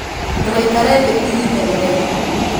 ndũgaikare thĩ ihinda iraihu